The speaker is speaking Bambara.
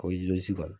Ko kɔni